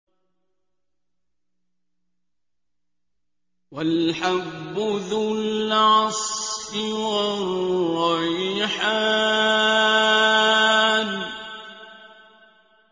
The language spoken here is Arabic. وَالْحَبُّ ذُو الْعَصْفِ وَالرَّيْحَانُ